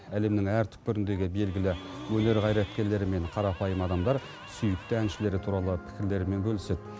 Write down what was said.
әлемнің әр түкпіріндегі белгілі өнер қайраткерлері мен қарапайым адамдар сүйікті әншілері туралы пікірлерімен бөліседі